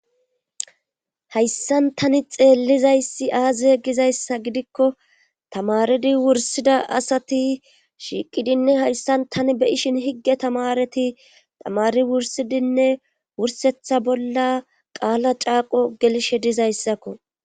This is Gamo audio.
Hayssanani xeellizayssi aaziye gizayssa gidikko tamaridi wursida asati shiiqidinne hayssan tani be ishin higge tamareti tamari wursidinne wursetha bolla qaala caaqo gelshe dizayssakko.